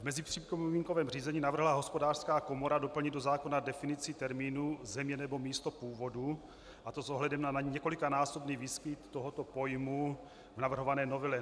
V mezipřipomínkovém řízení navrhla Hospodářská komora doplnit do zákona definici termínů "země nebo místo původu", a to s ohledem na několikanásobný výskyt tohoto pojmu v navrhované novele.